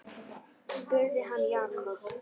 spurði hann Jakob.